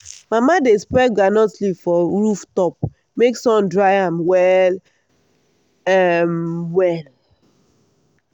mama dey spread groundnut leaf for roof top make sun dry am well um well.